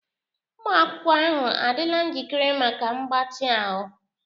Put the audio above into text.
Ụmụ akwụkwọ ahụ adịla njikere maka mgbatị ahụ?